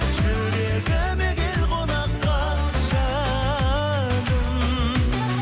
жүрегіме кел қонаққа жаным